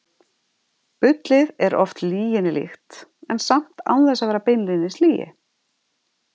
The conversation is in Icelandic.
Bullið er oft lyginni líkt, en samt án þess að vera beinlínis lygi.